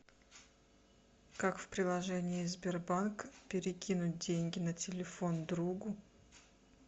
как в приложении сбербанк перекинуть деньги на телефон другу